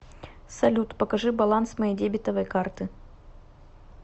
салют покажи баланс моей дебетовой карты